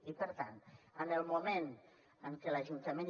i per tant en el moment en què l’ajuntament